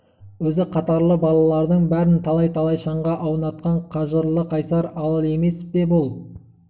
өзі қатарлы балалардың бәрін талай-талай шаңға аунатқан қажырлы қайсар арал емес пе бұл